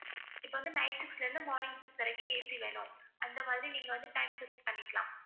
இப்ப வந்து night six ல இருந்து morning six வரைக்கும் AC வேணும் அந்த மாதிரி நீங்க வந்து time fix பண்ணிக்கலாம்